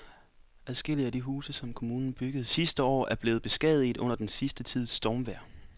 Adskillige af de huse, som kommunen byggede sidste år, er blevet beskadiget under den sidste tids stormvejr.